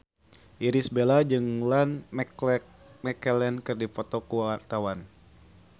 Irish Bella jeung Ian McKellen keur dipoto ku wartawan